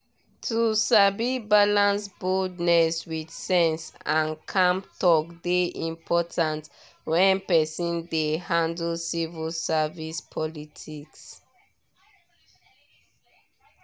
to sabi balance boldness with sense and calm talk dey important when person dey handle civil service politics.